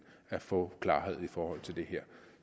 at få klarhed i forhold til det her